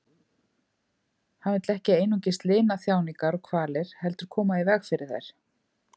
Hann vill ekki einungis lina þjáningar og kvalir heldur koma í veg fyrir þær.